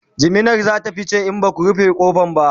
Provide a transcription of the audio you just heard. jiminar zata fice in Baku rufe ƙofar ba